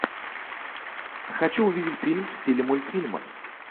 хочу увидеть фильм в стиле мультфильма